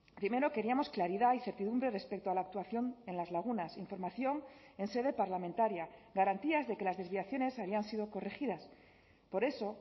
primero queríamos claridad y certidumbre respecto a la actuación en las lagunas información en sede parlamentaria garantías de que las desviaciones habían sido corregidas por eso